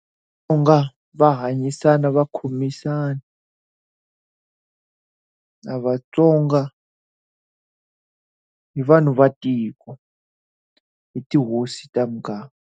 U nga va hanyisana va khomisana na vatsonga, hi vanhu va tiko, hi tihosi ta muganga.